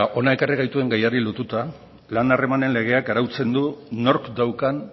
hona ekarri gaituen gaiari lotuta lan harremanen legeak arautzen du nork daukan